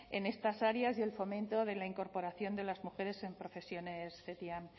en estas áreas y el fomento de la incorporación de las mujeres en profesiones ctiam